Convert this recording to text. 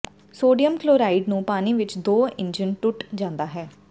sodium chloride ਨੂੰ ਪਾਣੀ ਵਿਚ ਦੋ ਇੰਜਨ ਟੁੱਟਾ ਜਾਂਦਾ ਹੈ